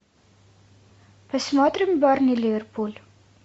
посмотрим бернли ливерпуль